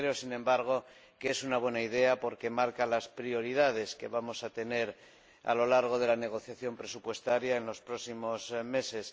Creo, sin embargo, que es una buena idea, porque marca las prioridades que vamos a tener a lo largo de la negociación presupuestaria en los próximos meses.